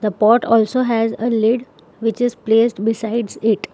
The pot also has a lid which is placed besides it.